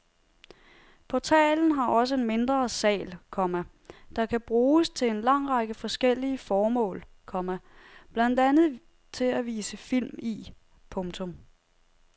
Portalen har også en mindre sal, komma der kan bruges til en lang række forskellige formål, komma blandt andet til at vise film i. punktum